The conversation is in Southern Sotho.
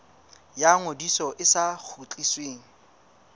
ya ngodiso e sa kgutlisweng